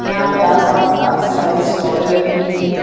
यहाँ पे आस-पास काफी सारी स्टॉले लगी हुई है।